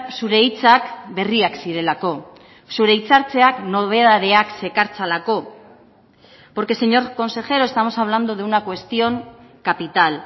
zure hitzak berriak zirelako zure hitzartzeak nobedadeak zekartzalako porque señor consejero estamos hablando de una cuestión capital